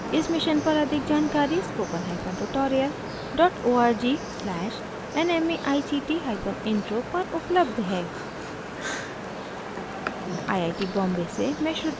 इस mission पर अधिक जानकरी spoken hyphen tutorial dot org slash nmeict hyphen intro पर उपलब्ध है